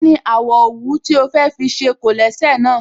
Kí ni àwọ̀ òwú tí o fẹ́ fi ṣe kólẹ̀sẹ̀ náà?